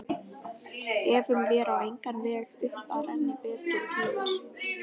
Efum vér á engan veg upp að renni betri tíðir